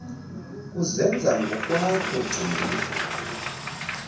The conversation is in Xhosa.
kuzenza ngokwakho gcina